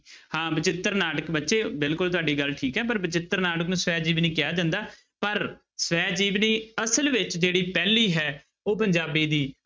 ਹਾਂ ਬਚਿੱਤਰ ਨਾਟਕ ਬੱਚੇ ਬਿਲਕੁਲ ਤੁਹਾਡੀ ਗੱਲ ਠੀਕ ਹੈ ਪਰ ਬਚਿੱਤਰ ਨਾਟਕ ਨੂੰ ਸਵੈ ਜੀਵਨੀ ਕਿਹਾ ਜਾਂਦਾ ਪਰ ਸਵੈ ਜੀਵਨੀ ਅਸਲ ਵਿੱਚ ਜਿਹੜੀ ਪਹਿਲੀ ਹੈ, ਉਹ ਪੰਜਾਬੀ ਦੀ